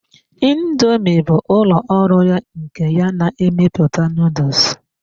Indoomi bụ ụlọ ọrụ nke ya na-emepụta noodles.